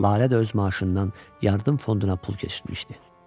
Lalə də öz maaşından yardım fonduna pul keçirmişdi.